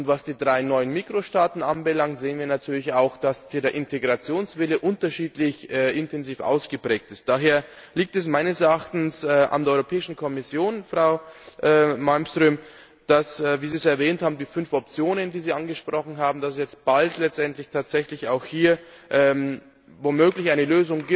Was die drei neuen Mikrostaaten anbelangt, sehen wir natürlich auch, dass hier der Integrationswille unterschiedlich intensiv ausgeprägt ist. Daher liegt es meines Erachtens an der Europäischen Kommission, Frau Malmström, dass wie Sie es erwähnt haben, die fünf Optionen, die Sie angesprochen haben es jetzt bald letztendlich tatsächlich auch hier womöglich eine